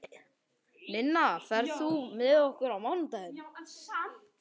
Ninna, ferð þú með okkur á mánudaginn?